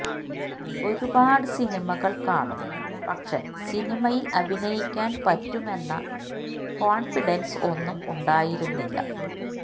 ഒരുപാട് സിനിമകള് കാണും പക്ഷെ സിനിമയില് അഭിനയിക്കാന് പറ്റും എന്ന കോണ്ഫിഡന്സ് ഒന്നും ഉണ്ടായിരുന്നില്ല